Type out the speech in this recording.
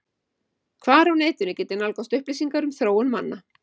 Hvar á netinu get ég nálgast upplýsingar um þróun manna?